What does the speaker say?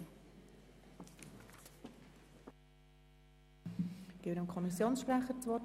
Ich gebe dem Kommissionssprecher das Wort.